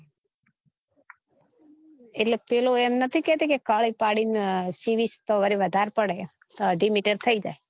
એટલે પિલો એમ નતી કેતી કે કાળી પડી ને સીવીસ તો વળી વધારે પડે અઢી meter થઇ જાય